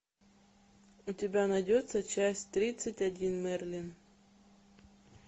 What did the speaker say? у тебя найдется часть тридцать один мерлин